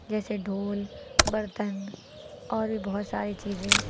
जैसे ढोल बर्तन और भी बहुत सारी चीजें --